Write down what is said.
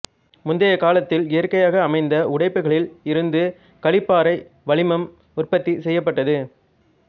முந்தைக் காலத்தில் இயற்கையாக அமைந்த உடைப்புக்களில் இருந்து களிப்பாறை வளிமம் உற்பத்தி செய்யப்பட்டது